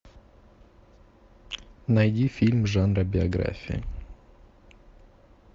найди фильм жанра биография